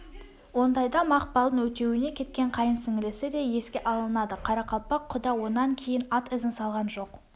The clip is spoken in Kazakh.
ондайда мақпалдың өтеуіне кеткен қайын сіңілісі де еске алынады қарақалпақ кұда онан кейін ат ізін салған жоқ